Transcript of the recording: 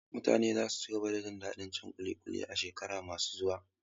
Mutane za su cigaba da jin daɗin cin ƙuli ƙuli a shekaru masu zuwa.